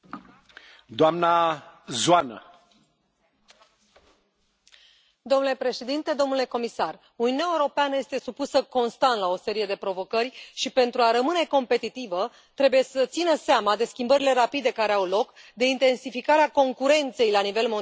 Domnule președinte, domnule comisar, Uniunea Europeană este supusă constant la o serie de provocări și, pentru a rămâne competitivă, trebuie să țină seama de schimbările rapide care au loc, de intensificarea concurenței la nivel mondial și de modificările profunde cauzate de digitalizare în toate sectoarele.